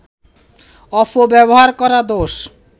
অপব্যবহার করা দোষ